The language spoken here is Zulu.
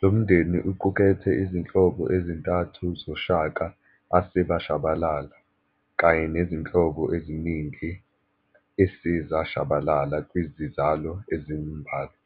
Lomndeni uqukethe izinhlobo ezintathu zoShaka asebashabalala, kanye nezinhlobo eziningi esezashabalala kwizizalo ezimbalwa.